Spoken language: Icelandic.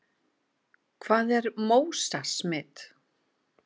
Hvað er MÓSA-smit?